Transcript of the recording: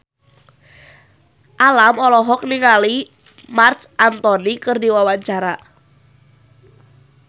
Alam olohok ningali Marc Anthony keur diwawancara